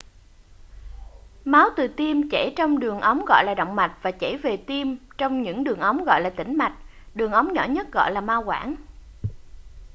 máu từ tim chảy trong những đường ống gọi là động mạch và chảy về tim trong những đường ống gọi là tĩnh mạch đường ống nhỏ nhất gọi là mao quản